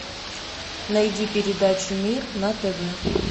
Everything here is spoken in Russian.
найди передачу мир на тв